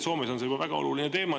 Soomes on see juba väga oluline teema.